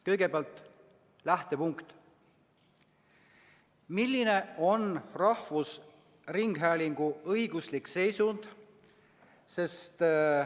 Kõigepealt lähtepunkt: milline on rahvusringhäälingu õiguslik seisund?